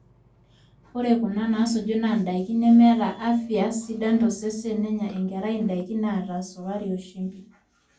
ore kuna naasuju naa indaiki nemeeta afya sidai tosesen enenya enkerai, indaiki naata esukari o shumbi